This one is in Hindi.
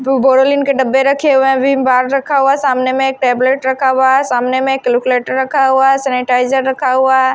बोरोलिन के डब्बे रखे हुए हैं विम -बार रखा हुआ है सामने में एक टेबलेट रखा हुआ है सामने में एक कैल्कुलेटर रखा हुआ है सैनिटाइजर रखा हुआ है।